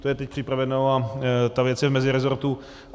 To je teď připraveno a ta věc je v mezirezortu.